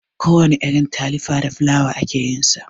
Kowana irin talifa da fulawa ake yin sa.